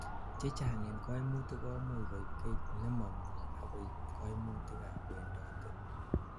chechang en kaimutik koimuch koib gait nemomie ak koib kaimutik ab wendotet